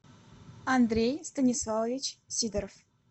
андрей станиславович сидоров